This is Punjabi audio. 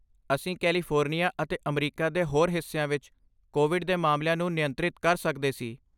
ਅਸੀਂ ਕੈਲੀਫੋਰਨੀਆ ਅਤੇ ਅਮਰੀਕਾ ਦੇ ਹੋਰ ਹਿੱਸਿਆਂ ਵਿੱਚ ਕੋਵਿਡ ਦੇ ਮਾਮਲਿਆਂ ਨੂੰ ਨਿਯੰਤਰਿਤ ਕਰ ਸਕਦੇ ਸੀ।